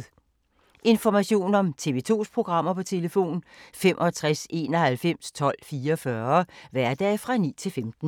Information om TV 2's programmer: 65 91 12 44, hverdage 9-15.